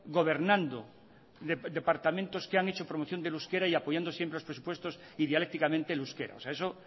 gobernando departamentos que han hecho promoción del euskera y apoyando siempre los presupuestos idealécticamente el euskera eso